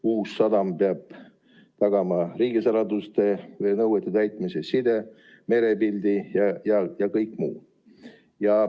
Uus sadam peab tagama riigisaladuste nõuete täitmise, side, merepildi ja kõik muu.